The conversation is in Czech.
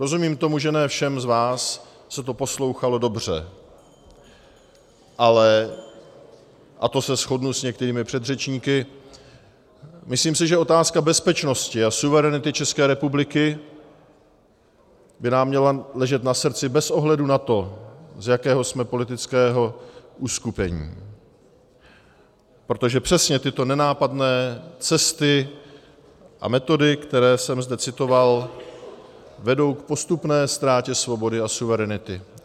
Rozumím tomu, že ne všem z vás se to poslouchalo dobře, ale - a to se shodnu s některými předřečníky - myslím si, že otázka bezpečnosti a suverenity České republiky by nám měla ležet na srdci bez ohledu na to, z jakého jsme politického uskupení, protože přesně tyto nenápadné cesty a metody, které jsem zde citoval, vedou k postupné ztrátě svobody a suverenity.